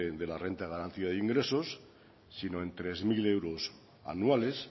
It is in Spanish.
de la renta garantía de ingresos sino en tres mil euros anuales